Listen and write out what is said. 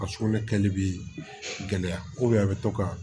A sugunɛ kɛli bɛ gɛlɛya a bɛ to ka